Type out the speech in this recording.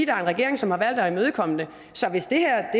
er en regering som har valgt at imødekomme det så hvis det her